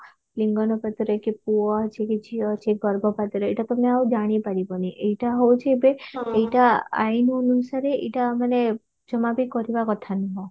ଲିଙ୍ଗାନୁପାତରେ କି ପୁଅ ଅଛି କି ଝିଅ ଅଛି ଗର୍ଭପାତରେ ଏଇଟା ତମେ ଆଉ ଜାଣିପାରିବନି ଏଇଟା ହଉଛି ଏବେ ଏଇଟା ଆଇନ ଅନୁସାରେ ଏଇଟା ମାନେ ଜମା ବି କରିବା କଥା ନୁହଁ